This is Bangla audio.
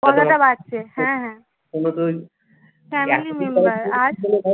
হ্যাঁ হ্যাঁ